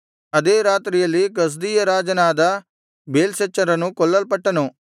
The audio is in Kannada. ಅದೇ ರಾತ್ರಿಯಲ್ಲಿ ಕಸ್ದೀಯ ರಾಜನಾದ ಬೇಲ್ಶಚ್ಚರನು ಕೊಲ್ಲಲ್ಪಟ್ಟನು